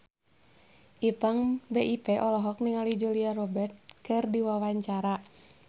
Ipank BIP olohok ningali Julia Robert keur diwawancara